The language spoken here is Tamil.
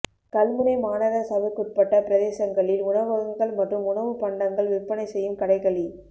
கல்முனை மாநகர சபைக்குட்பட்ட பிரதேசங்களில் உணவகங்கள் மற்றும் உணவுப் பண்டங்கள் விற்பனை செய்யும் கடைகளி